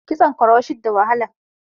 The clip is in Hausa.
Kitson kuroshet da wahala